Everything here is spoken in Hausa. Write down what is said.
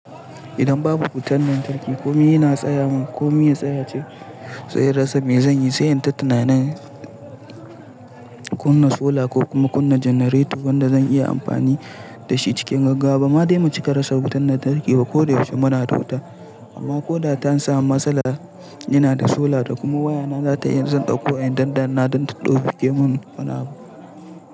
Idan babu wutar lantarki kome yana tsaya mun. Kome ya tsaya ce zai rasa. Me zan yi? Sai in ta tunanin kunna sola ko kuma kunna janareto wanda zan iya amfani da shi cikin gaggawa. Ba ma dai mu cika rasa wutar lantarki ba. Ko da yaushe muna da wuta amma ko da ta an samu matsala ina da sola da kuma waya na za ta yi. Zan ɗauko a inda da na don ta ɗauki mun wani abu.